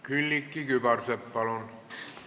Külliki Kübarsepp, palun!